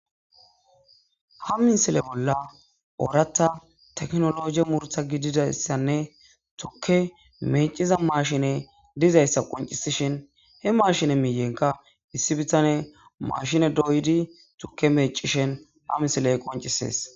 Ha misile bolla oorata teknologi murta gididayssanne tukke meciza mashine dizayssa qoncisishin he mashine miiyenka issi bitane mashine doydi tukke meecishen ha misiley qoncisees